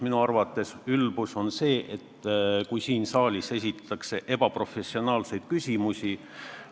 Minu arvates ülbus on see, kui siin saalis esitatakse ebaprofessionaalseid küsimusi.